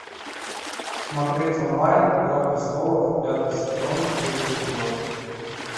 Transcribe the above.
смотреть онлайн игра престолов пятый сезон третий эпизод